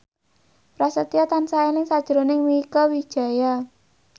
Prasetyo tansah eling sakjroning Mieke Wijaya